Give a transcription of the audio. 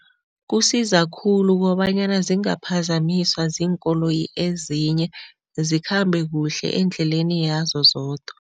Kusiza khulu kobanyana zingaphazamiswa ziinkoloyi ezinye, zikhambe kuhle endleleni yazo zodwa.